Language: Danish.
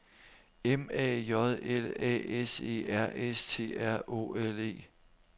M A J L A S E R S T R Å L E